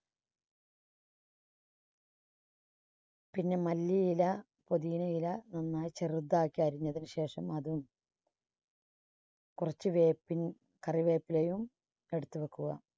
പിന്നെ മല്ലിയില പൊതിനയില നന്നായി ചെറുതാക്കി അരിഞ്ഞതിനു ശേഷം അത് കുറച്ച് വേപ്പിൻ കറിവേപ്പിലയും എടുത്തുവെക്കുക.